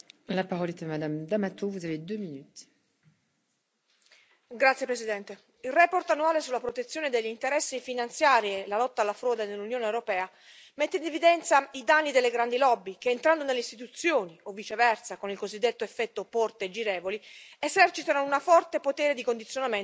Signor Presidente, la relazione annuale sulla protezione degli interessi finanziari e la lotta alla frode nell'Unione europea mette in evidenza i danni delle grandi lobby che, entrando nelle istituzioni o, viceversa, con il cosiddetto effetto porte girevoli, esercitano un forte potere di condizionamento se non di corruzione.